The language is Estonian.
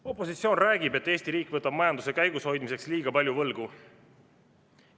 Opositsioon räägib, et Eesti riik võtab majanduse käigus hoidmiseks liiga palju võlgu.